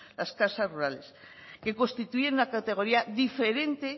las casas rurales que constituyen una categoría diferente